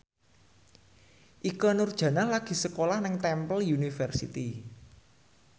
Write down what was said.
Ikke Nurjanah lagi sekolah nang Temple University